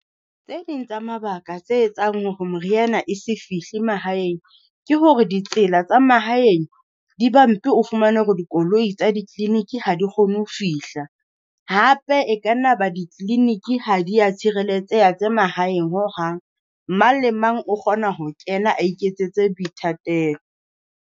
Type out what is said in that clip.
Tse ding tsa mabaka tse etsang hore moriana e se fihle mahaeng ke hore ditsela tsa mahaeng, di bumpy o fumane hore dikoloi tsa di-clinic ha di kgone ho fihla. Hape e ka nna ba di-clinic ha di ya tshireletseha tse mahaeng hohang, mang le mang o kgona ho kena a iketsetse boithatelo.